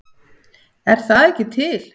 Er það ekki til?